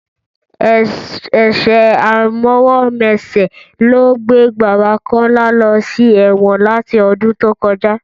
Ẹ̀ṣẹ̀ àìmọwọ́-mẹsẹ̀ ló gbé bàbá Kọ́lá lọ sí ẹ̀wọ̀n láti ọdún tó kọjá